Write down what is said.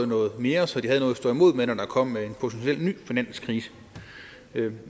noget mere så de havde noget at stå imod med når der kom en potentiel ny finanskrise det